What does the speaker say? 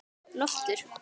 Loftur